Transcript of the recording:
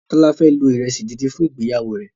Tola fẹ lo iresi dín dín fún ìgbéyàwó rẹ